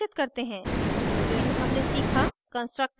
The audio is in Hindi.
सारांशित करते हैं इस tutorial में हमने सीखा